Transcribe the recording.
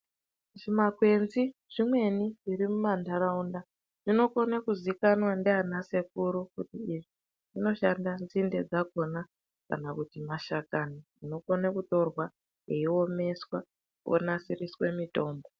Zvi makwenzi zvimweni zviri mu mandaraunda zvinokone kuziikanwa ndiana sekuru kuti idzi dzinoshanda nzinde dzakona kana kuti mashakani anokone kutorwa eyi omeswa onasiriswe mitombo.